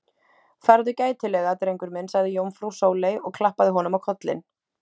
Farðu gætilega, drengur minn sagði jómfrú Sóley og klappaði honum á kollinn.